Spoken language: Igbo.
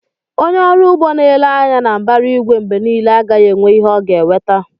Onye ọrụ ugbo na-ele anya na mbara igwe mgbe niile, agaghị enwe ihe ọ ga-eweta